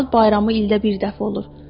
Milad bayramı ildə bir dəfə olur.